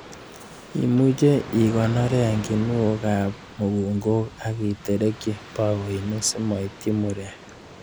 Imuche ikoronoren kinuokab mukunkok ak iterekyi bakoinik simoityi murek.